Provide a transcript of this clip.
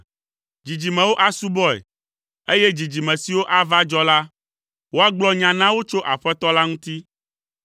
Dzidzimewo asubɔe, eye dzidzime siwo ava dzɔ la, woagblɔ nya na wo tso Aƒetɔ la ŋuti.